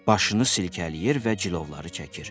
Başını silkələyir və cilovları çəkir.